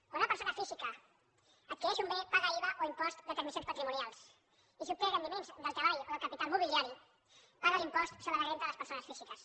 quan una persona física adquireix un bé paga iva o impost de transmissions patrimonials i si obté rendiments del treball o del capital mobiliari paga l’impost sobre la renda de les persones físiques